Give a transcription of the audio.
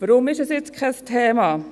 Weshalb ist es jetzt kein Thema?